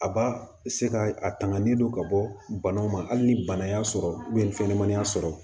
A b'a se ka a tangani don ka bɔ banaw ma hali ni bana y'a sɔrɔ ni fɛnɲɛnamani y'a sɔrɔ